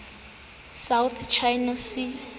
south china sea